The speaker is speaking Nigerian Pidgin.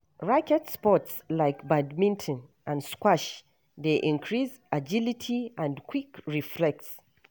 Racket sports like badminton and squash dey increase agility and quick reflex.